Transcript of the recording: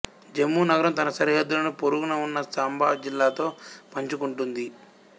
జమ్మూ నగరం తన సరిహద్దులను పొరుగున ఉన్న సాంబా జిల్లాతో పంచుకుంటుంది